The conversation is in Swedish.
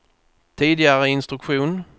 tidigare instruktion